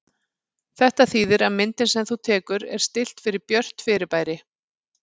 Þetta þýðir að myndin sem þú tekur er stillt fyrir björt fyrirbæri.